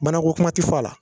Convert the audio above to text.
Mana ko kuma te fɔ a la.